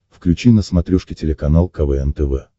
включи на смотрешке телеканал квн тв